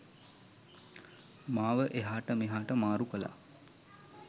මාව එහාට මෙහාට මාරු කළා.